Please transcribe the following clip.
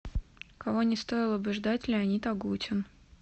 кого не стоило бы ждать леонид агутин